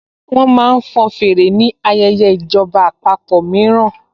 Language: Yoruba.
Wọ́n máa ń fọn fèrè ni ayẹyẹ ìjọba àpapọ̀ mìíràn